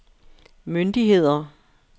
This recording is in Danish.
myndigheder